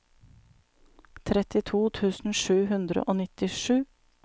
trettito tusen sju hundre og nittisju